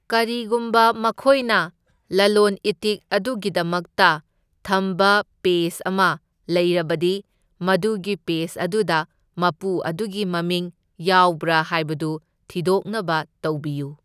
ꯀꯔꯤꯒꯨꯝꯕ ꯃꯈꯣꯏꯅ ꯂꯂꯣꯟ ꯏꯇꯤꯛ ꯑꯗꯨꯒꯤꯗꯃꯛꯇ ꯊꯝꯕ ꯄꯦꯖ ꯑꯃ ꯂꯩꯔꯕꯗꯤ ꯃꯗꯨꯒꯤ ꯄꯦꯖ ꯑꯗꯨꯗ ꯃꯄꯨ ꯑꯗꯨꯒꯤ ꯃꯃꯤꯡ ꯌꯥꯎꯕ꯭ꯔꯥ ꯍꯥꯢꯕꯗꯨ ꯊꯤꯗꯣꯛꯅꯕ ꯇꯧꯕꯤꯌꯨ꯫